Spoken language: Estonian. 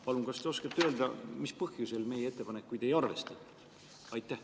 Palun, kas te oskate öelda, mis põhjusel meie ettepanekuid ei arvestatud?